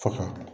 Faga